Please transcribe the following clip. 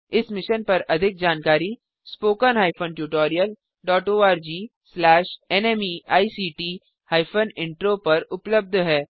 इस मिशन पर अधिक जानकारी spoken hyphen tutorial dot org slash नमेक्ट हाइफेन इंट्रो पर उपलब्ध है